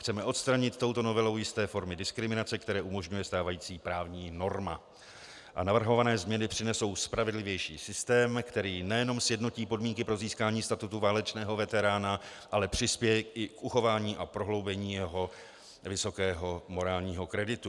Chceme odstranit touto novelou jisté formy diskriminace, které umožňuje stávající právní norma, a navrhované změny přinesou spravedlivější systém, který nejenom sjednotí podmínky pro získání statutu válečného veterána, ale přispěje i k uchování a prohloubení jeho vysokého morálního kreditu.